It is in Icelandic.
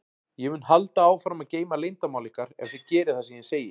Ég mun halda áfram að geyma leyndarmál ykkar ef þið gerið það sem ég segi.